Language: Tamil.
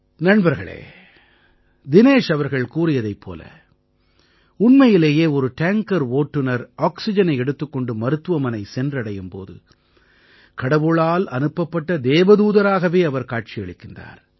நண்பர்களே தினேஷ் அவர்கள் கூறியது போல உண்மையிலேயே ஒரு டேங்கர் ஓட்டுநர் ஆக்சிஜனை எடுத்துக் கொண்டு மருத்துவமனை சென்றடையும் போது கடவுளால் அனுப்பப்பட்ட தேவதூதராகவே அவர் காட்சியளிக்கிறார்